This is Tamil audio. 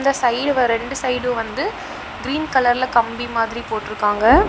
இந்த சைடு வ ரெண்டு சைடும் வந்து கிரீன் கலர்ல கம்பி மாதிரி போட்டுருக்காங்க.